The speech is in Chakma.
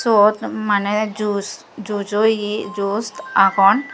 uot mane jush juj o ye jush agon.